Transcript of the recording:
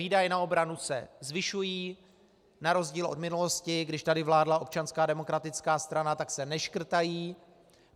Výdaje na obranu se zvyšují, na rozdíl od minulosti, když tady vládla Občanská demokratická strana, tak se neškrtají.